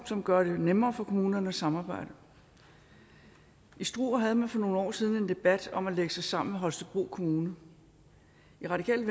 som gør det nemmere for kommunerne at samarbejde i struer havde man for nogle år siden en debat om at lægge sig sammen med holstebro kommune i radikale